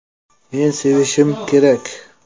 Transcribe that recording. Men sevishim kerak”.